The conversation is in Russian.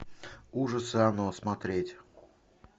ужасы оно смотреть